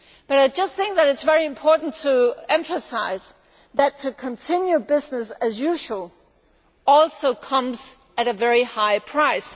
I think that it is very important to emphasise that to continue business as usual also comes at a very high price.